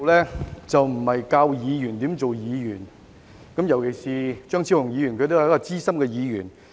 主席，我並非要教議員怎樣當議員，特別是張超雄議員也是一位資深的議員。